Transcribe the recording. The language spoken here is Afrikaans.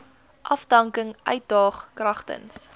afdanking uitdaag kragtens